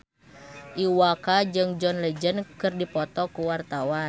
Iwa K jeung John Legend keur dipoto ku wartawan